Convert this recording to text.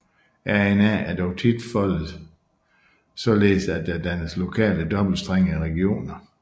RNA er dog tit foldet således at der dannes lokale dobbeltstrengede regioner